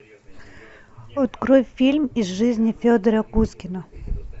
открой фильм из жизни федора кузькина